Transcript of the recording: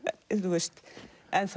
enn